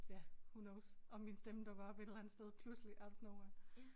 Ja who knows om min stemme dukker op et eller andet pludselig out of nowhere